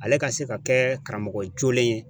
Ale ka se ka kɛ karamɔgɔ jolen ye.